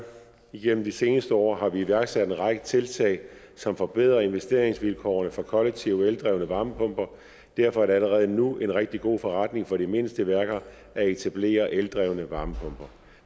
igennem de seneste år har vi iværksat en række tiltag som forbedrer investeringsvilkårene for kollektivt eldrevne varmepumper derfor er det allerede nu en rigtig god forretning for de mindste værker at etablere eldrevne varmepumper